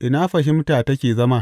Ina fahimta take zama?